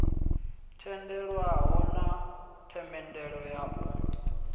tendelwaho na themendelo ya u